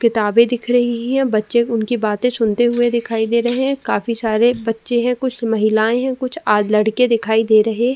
किताबें दिख रही है बच्चे उनकी बातें सुनते हुए दिखाई दे रहे है काफी सारे बच्चे है कुछ महिलाऐं है कुछ आद लड़के दिखाई दे रहे --